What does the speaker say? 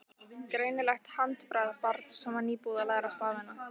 Greinilegt handbragð barns sem var nýbúið að læra stafina.